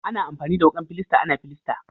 Ana amfani da wukan filasta ana filasta.